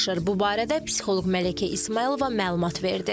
Bu barədə psixoloq Mələkə İsmayılova məlumat verdi.